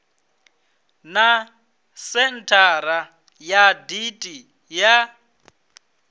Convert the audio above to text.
na senthara ya dti ya